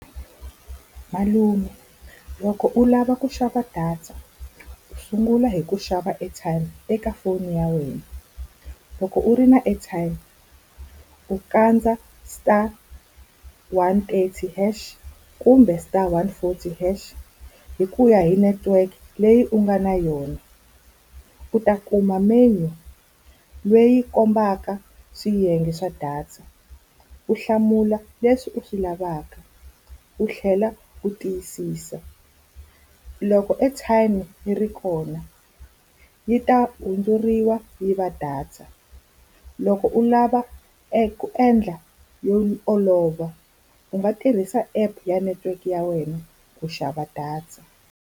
Malume loko u lava ku xava data, u sungula hi ku xava airtime eka foni ya wena. Loko u ri na airtime, u kandza star one eighty hash kumbe star one four hash hi ku ya hi network leyi u nga na yona. U ta kuma menu leyi yi kombaka swiyenge swa data, u hlamula leswi u swi lavaka u tlhela u tiyisisa. Loko airtime yi ri kona, yi ta hundzuriwa yi va data. Loko u lava eku endla yo olova, u nga tirhisa app ya network ya wena ku xava data.